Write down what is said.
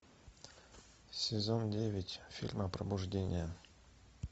сезон девять фильм опробуждение